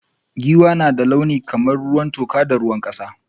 Giwa na da launi kamar ruwan toka da ruwan kasa.